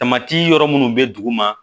Tamati yɔrɔ minnu bɛ duguma